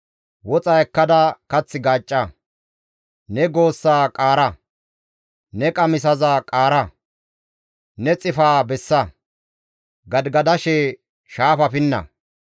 Woxa ekkada kath gaacca; Ne goossaa qaara; ne qamisaza qaara; ne xifaa bessa; gadigadashe shaafaa pinna.